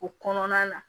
O kɔnɔna na